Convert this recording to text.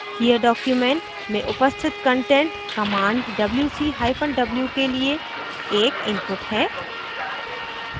here document में उपस्थित content command wc hyphen w के लिए एक input है